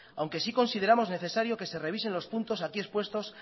aunque sí consideramos necesario que se revisen los puntos aquí expuestos